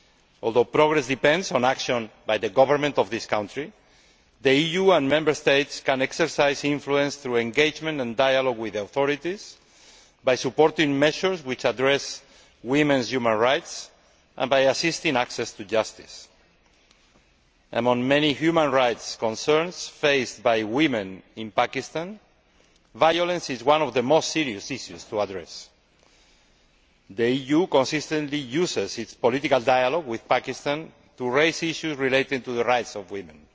Although progress depends on action by the government of that country, the EU and Member States can exercise influence through engagement and dialogue with the authorities, by supporting measures which address women's human rights and by assisting access to justice. Among many human rights concerns faced by women in Pakistan, violence is one of the most serious issues to address. The EU consistently uses its political dialogue with Pakistan to raise issues relating to the rights of women.